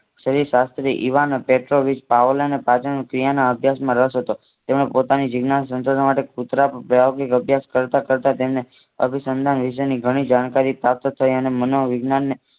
ઇવાનો Petrovich પાવલાનો પાચનક્રિયાનો અભ્યાશ માં રસ હતો. તેમાં પોતાની જીજ્ઞાશા સંચારવા માટે કુતરા પ્રાયોગિક અભ્યાસ કરતા કરતા તેમને અભિસંધાન વિશે ની ઘણી જાણકારી પ્રાપ્ત થઈ અને અમોવિજ્ઞાને